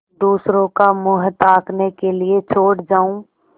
दूसरों का मुँह ताकने के लिए छोड़ जाऊँ